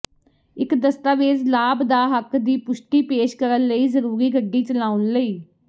ਇੱਕ ਦਸਤਾਵੇਜ਼ ਲਾਭ ਦਾ ਹੱਕ ਦੀ ਪੁਸ਼ਟੀ ਪੇਸ਼ ਕਰਨ ਲਈ ਜ਼ਰੂਰੀ ਗੱਡੀ ਚਲਾਉਣ ਲਈ